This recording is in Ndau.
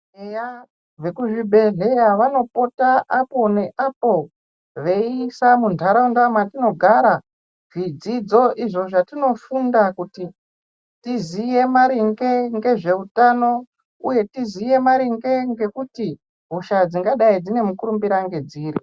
Eya vemu zvibhedhlera vanopota apo neapo veisa mundaraunda matinogara zvidzidzo izvo zvatinofunda kuti tizive maringe nezvehutano uye tizive maringe ngekuti hosha dzingadai dzine mukurumbira ndedziri.